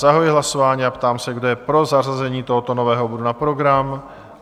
Zahajuji hlasování a ptám se, kdo je pro zařazení tohoto nového bodu na program?